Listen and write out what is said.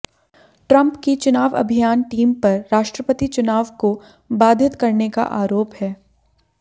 Trump की चुनाव अभियान टीम पर राष्ट्रपति चुनाव को बाधित करने का आरोप है